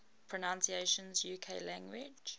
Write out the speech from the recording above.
pronunciations uk english